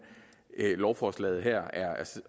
lovforslaget her